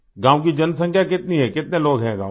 गाँव की जनसँख्या कितनी है कितने लोग हैं गाँव में